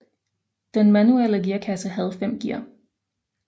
Den manuelle gearkasse havde fem gear